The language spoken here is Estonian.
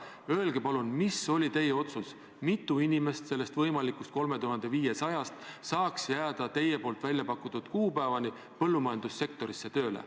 Öelge palun, mis oli teie otsus, mitu inimest sellest võimalikust 3500-st saaks jääda teie nimetatud kuupäevani põllumajandussektorisse tööle.